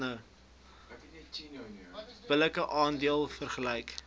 billike aandeel vergeleke